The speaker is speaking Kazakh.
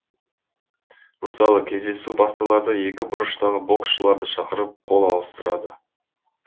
мысалы кездесу басталарда екі бұрыштағы боксшыларды шақырып қол алыстырады